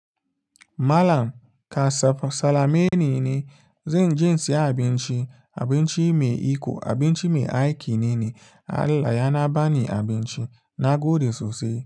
Malam kasaf salameni ne. Zan je in siya abinci. Abinci me iko, abinci me aiki nene. Allah yana bani abinci, na gode sosai.